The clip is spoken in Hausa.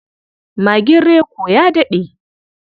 Magin Reko ya daɗe.